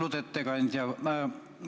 Austatud ettekandja!